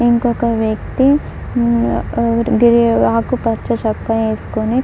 ఇంకొక వ్యక్తి హు గ్రి-ఆకుపచ్చ చొక్కా ఏసుకొని--